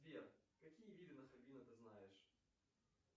сбер какие виды нахабино ты знаешь